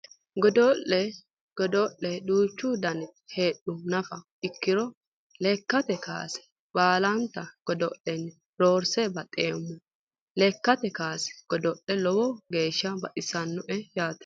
Godo'le godo'le duuchu danita heedhuha nafa ikkiro lekkate kaase baalante godo'lenni roorse baxeemmo lekkate kaase godo'la lowo geeshsha baxissannote yaate